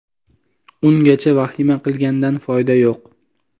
Ungacha vahima qilgandan foyda yo‘q.